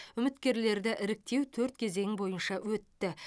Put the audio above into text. үміткерлерді іріктеу төрт кезең бойынша өтті